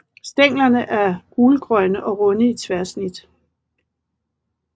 Stænglerne er gulgrønne og runde i tværsnit